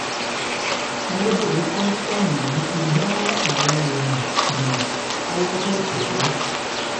ayédèrú kòsítọọmù yìí ti gba àwọn èèyàn jìnnà kọwọ tóo tẹ ẹ